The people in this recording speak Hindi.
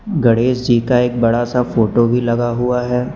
गणेश जी का एक बड़ा सा फोटो भी लगा हुआ है।